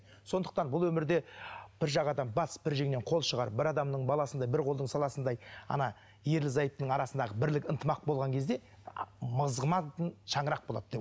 сондықтан бұл өмірде бір жағадан бас бір жеңнен қол шығарып бір адамның баласындай бір қолдың саласындай ана ерлі зайыптының арасындағы бірлік ынтымақ болған кезде шаңырақ болады